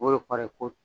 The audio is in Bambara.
O de kɔrɔ ye ko